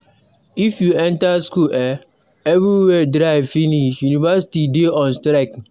If you enter school eh everywhere dry finish. Universities dey on strike.